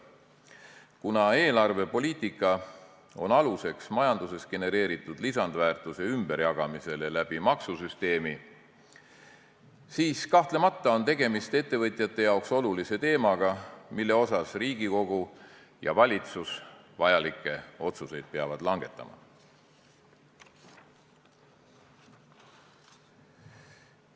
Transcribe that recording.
Kuna eelarvepoliitika on aluseks majanduses genereeritud lisandväärtuse ümberjagamisele maksusüsteemi kaudu, siis on kahtlemata tegemist ettevõtjate jaoks olulise teemaga, mille kohta Riigikogu ja valitsus vajalikke otsuseid peavad langetama.